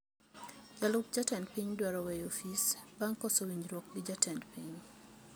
Jalup jatend piny dwaro weyo ofis bang` koso winjruok gi jatend piny